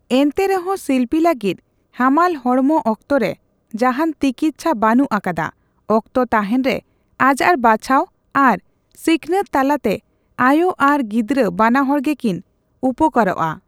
ᱮᱱᱛᱮᱨᱮᱦᱚᱸ ᱥᱤᱮᱞᱯᱤ ᱞᱟᱹᱜᱤᱫ ᱦᱟᱢᱟᱞ ᱦᱚᱲᱢᱚ ᱚᱠᱛᱚ ᱨᱮ ᱡᱟᱦᱟᱸᱱ ᱛᱤᱠᱤᱪᱪᱷᱟ ᱵᱟᱹᱱᱩᱜ ᱟᱠᱟᱫᱟ, ᱚᱠᱛᱚ ᱛᱟᱦᱮᱸᱱ ᱨᱮ ᱟᱡᱟᱨ ᱵᱟᱪᱷᱟᱣ ᱟᱨ ᱥᱤᱠᱷᱱᱟᱹᱛ ᱛᱟᱞᱟᱛᱮ ᱟᱭᱳ ᱟᱨ ᱜᱤᱫᱽᱨᱟᱹ ᱵᱟᱱᱟᱦᱚᱲ ᱜᱮ ᱠᱤᱱ ᱩᱯᱠᱟᱹᱨᱚᱜᱼᱟ᱾